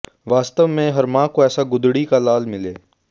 वास्तव में हर मां को ऐसा गुदड़ी का लाल मिले